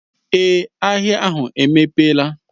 Èé, ahịa ahụ emepela.